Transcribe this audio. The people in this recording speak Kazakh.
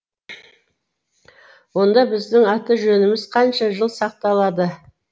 онда біздің аты жөніміз қанша жыл сақталады